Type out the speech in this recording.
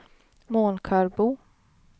Månkarbo